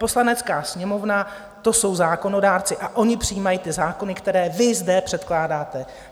Poslanecká sněmovna, to jsou zákonodárci a oni přijímají ty zákony, které vy zde předkládáte.